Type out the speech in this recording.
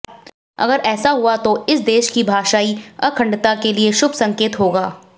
अगर ऐसा हुआ तो इस देश की भाषाई अखंडता के लिए शुभ संकेत होगा